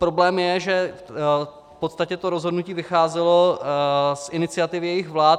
Problém je, že v podstatě to rozhodnutí vycházelo z iniciativy jejich vlád.